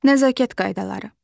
Nəzakət qaydaları.